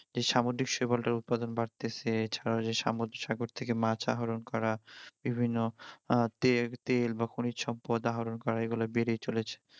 এ সামুদ্রিক শৈবালটার উৎপাদন বাড়তেছে সাগর থেকে মাছ আহরণ করা বিভিন্ন আহ তেল তেল বা খনিজ সম্পদ আহরণ করা এগুলো বেড়ে চলেছে